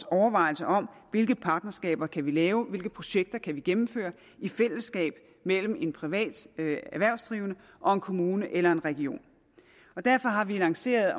overvejelserne om hvilke partnerskaber man kan lave hvilke projekter man kan gennemføre i fællesskab mellem en privat erhvervsdrivende og en kommune eller en region derfor har vi lanceret